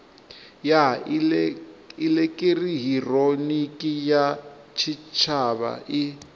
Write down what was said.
ya elekihironiki ya tshitshavha i